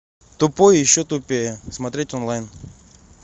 тупой и еще тупее смотреть онлайн